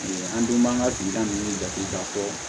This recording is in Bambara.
An dun b'an ka dugutaga ninnu jate k'a fɔ